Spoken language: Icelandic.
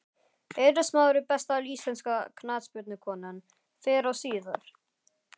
Eiður Smári Besta íslenska knattspyrnukonan fyrr og síðar?